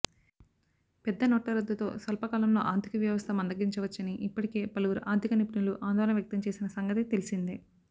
పెద్ద నోట్ల రద్దుతో స్వల్పకాలంలో ఆర్థికవ్యవస్థ మంద గించవచ్చని ఇప్పటికే పలువురు ఆర్థిక నిపుణులు ఆందోళన వ్యక్తంచేసిన సంగతి తెలిసిందే